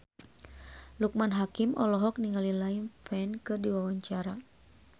Loekman Hakim olohok ningali Liam Payne keur diwawancara